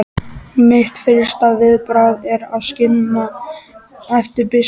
Mitt fyrsta viðbragð er að skima eftir byssunni.